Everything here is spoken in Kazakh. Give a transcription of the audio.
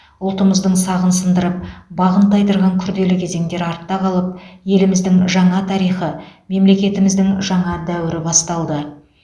ұлтымыздың сағын сындырып бағын тайдырған күрделі кезеңдер артта қалып еліміздің жаңа тарихы мемлекеттігіміздің жаңа дәуірі басталды